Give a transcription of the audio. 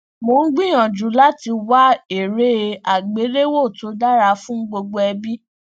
mo n gbiyanju lati wa ere agbelewo to dara fun gbogbo ẹbi